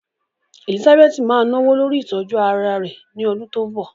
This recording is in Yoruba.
Elizabeth máa náwó lórí ìtọ́jú ara rẹ̀ ní ọdún tó ń bọ̀.